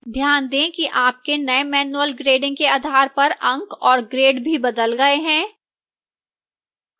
ध्यान दें कि आपके नए manual grading के आधार पर अंक और grade भी बदल गए हैं